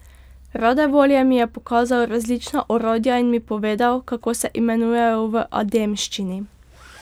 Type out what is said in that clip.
Rade volje mi je pokazal različna orodja in mi povedal, kako se imenujejo v ademščini.